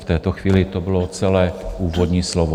V této chvíli to bylo celé úvodní slovo.